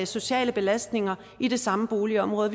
sociale belastninger i det samme boligområde og